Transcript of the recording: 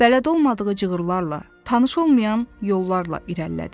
Bələd olmadığı cığırlarla, tanış olmayan yollarla irəlilədi.